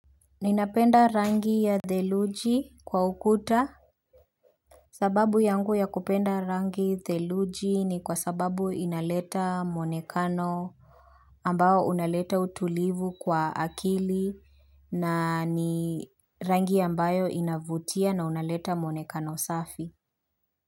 Ninapenda rangi ya theluji kwa ukuta sababu yangu ya kupenda rangi theluji ni kwa sababu inaleta mwonekano ambao unaleta utulivu kwa akili na ni rangi ambayo inavutia na unaleta mwonekano safi.